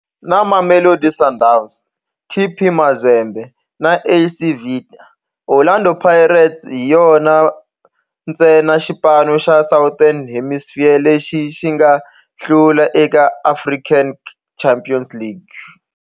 Na Mamelodi Sundowns, TP Mazembe na AS Vita, Orlando Pirates hi yona ntsena xipano xa Southern Hemisphere lexi nga hlula eka African Champions League.